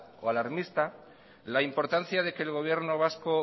o alarmista la importancia de que el gobierno vasco